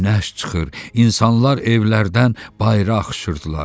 Günəş çıxır, insanlar evlərdən bayıra axışırdılar.